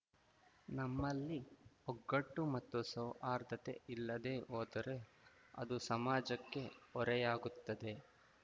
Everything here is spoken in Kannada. ನಮ್ಮಲ್ಲಿ ಒಗ್ಗಟ್ಟು ಮತ್ತು ಸೌಹಾರ್ದತೆ ಇಲ್ಲದೇ ಹೋದರೆ ಅದು ಸಮಾಜಕ್ಕೆ ಹೊರೆಯಾಗುತ್ತದೆ